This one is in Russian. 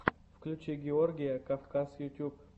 включи георгия кавказ ютюб